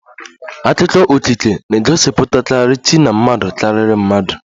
Akụkọ okike na-egosipụtakarị chi na mmadụ karịrị mmadụ